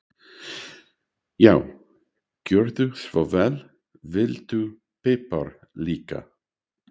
Já, gjörðu svo vel. Viltu pipar líka?